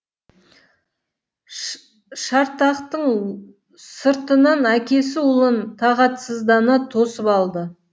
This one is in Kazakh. шартақтың сыртынан әкесі ұлын тағатсыздана тосып алды